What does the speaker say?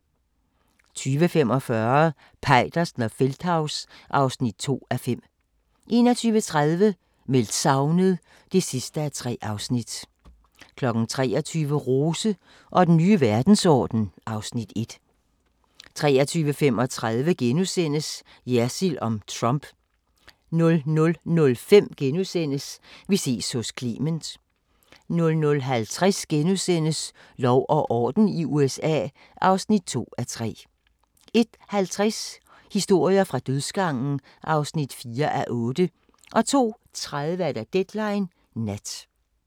20:45: Peitersen og Feldthaus (2:5) 21:30: Meldt savnet (3:3) 23:00: Rose og den nye verdensorden (Afs. 1) 23:35: Jersild om Trump * 00:05: Vi ses hos Clement * 00:50: Lov og orden i USA (2:3)* 01:50: Historier fra dødsgangen (4:8) 02:30: Deadline Nat